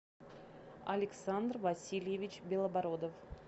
александр васильевич белобородов